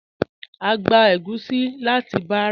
A gbà ègúsì láti Bàrà.